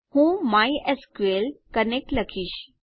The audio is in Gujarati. હું માય એસક્યુએલ કનેક્ટ લખીશ